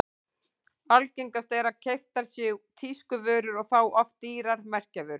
Algengast er að keyptar séu tískuvörur og þá oft dýrar merkjavörur.